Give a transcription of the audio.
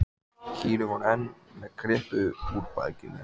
Kýrin var enn með kryppu upp úr bakinu.